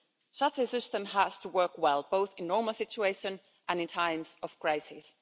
Such a system has to work well, both in normal situations and in times of crisis.